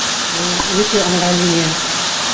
ол өте ыңғайлы не